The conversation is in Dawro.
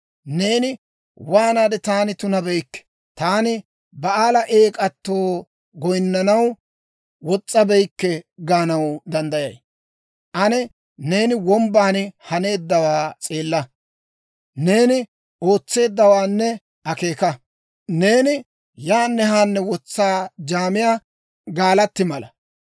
Neeni waanaade, ‹Taani tunabeykke; taani Ba'aala eek'atoo goyinnanaw wos's'abeykke› gaanaw danddayay? Ane neeni wombban haneeddawaa s'eella; neeni ootseeddawaanne akeeka. Neeni yaanne haanne wotsaa jaamiyaa gaalatti mala.